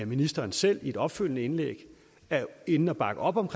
ministeren selv i et opfølgende indlæg er inde at bakke op om